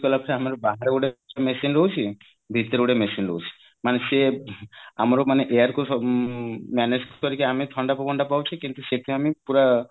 କଲା ପରେ ଆମର ବାହାରେ ଗୋଟେ machine ରହୁଛି ଭିତରେ ଗୋଟେ machine ରହୁଛି ମାନେ ସିଏ ଆମର ମାନେ air କୁ ମାନେ manage କରିକି ଆମେ ଥଣ୍ଡା ପବନ ଟା ପାଉଛେ କିନ୍ତୁ ସେତୁ ଆମେ ପୁରା